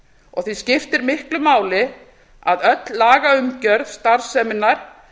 og því skiptir miklu máli að allri lagaumgjörð starfseminnar